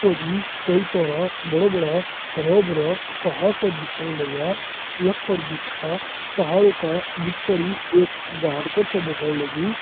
ओजी कई सारा बड़ा-बड़ा हरा भारा पहाड़ छे दिखने लगया पहाड़ का बीच पर ही एक को बगड़ लगी।